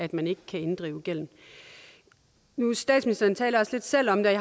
at man ikke kan inddrive gælden statsministeren talte også lidt selv om det